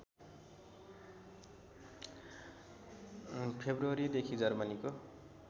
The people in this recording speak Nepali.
फेब्रुअरी देखि जर्मनीको